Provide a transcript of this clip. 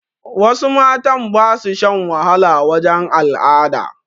Wasu matan ba su shan wahala wajen al'ada